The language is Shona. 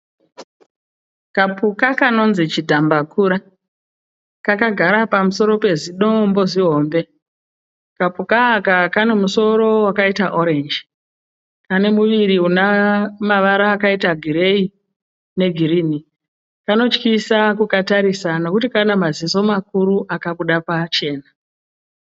Kapuka kanonzi chidhambakura. Kakagara pamusoro pezidombo zihombe. Kapuka aka kane musoro wakaita orenji. Kane muviri une mavara akaita gireyi negirinhi. Kanotyisa kukatarisa nekuti kane maziso mukuru akabuda pachena.